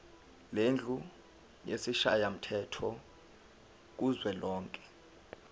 lendlu yesishayamthetho kuzwelonke